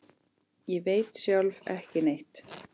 Ég veit sjálf ekki neitt.